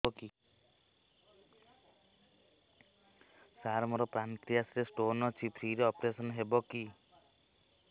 ସାର ମୋର ପାନକ୍ରିଆସ ରେ ସ୍ଟୋନ ଅଛି ଫ୍ରି ରେ ଅପେରସନ ହେବ କି